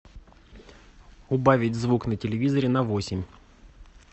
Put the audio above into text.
убавить звук на телевизоре на восемь